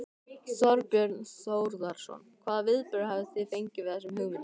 Þorbjörn Þórðarson: Hvaða viðbrögð hafið þið fengið við þessum hugmyndum?